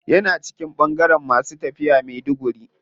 Yana cikin bangaren masu tafiya maiduguri.